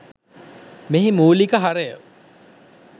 මෙහි මූලික හරය.